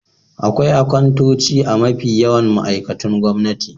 Akwai akantoci a mafi yawan ma'aikatun gwamnati.